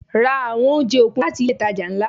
Ra àwọn oúnjẹ okun láti ilé itàjà ńlá.